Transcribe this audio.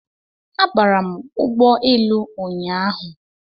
Abara m ụgbọ elu ụnyahụ